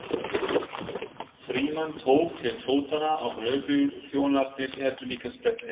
Frímann tók til fótanna og lögregluþjónarnir hertu líka sprettinn.